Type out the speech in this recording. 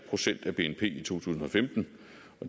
procent af bnp i to tusind og femten